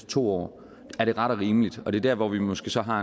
to år er det ret og rimeligt og det er der hvor vi måske så har